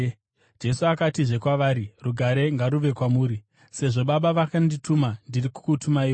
Jesu akatizve kwavari, “Rugare ngaruve kwamuri! Sezvo Baba vakandituma, ndiri kukutumaiwo.”